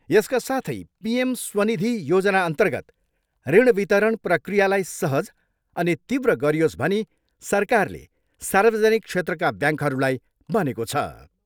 यसका साथै पी.एम स्वनिधि योजनाअर्न्तगत ऋण वितरण प्रक्रियालाई सहज अनि तीव्र गरियोस् भनी सरकारले सार्वजनिक क्षेत्रका ब्याङ्कहरूलाई भनेको छ।